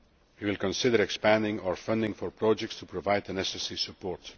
We will consider expanding our funding for projects to provide the necessary support.